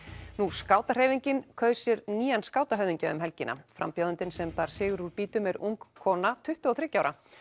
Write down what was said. skátahreyfingin kaus sér nýjan skátahöfðingja um helgina frambjóðandinn sem bar sigur úr býtum er ung kona tuttugu og þriggja ára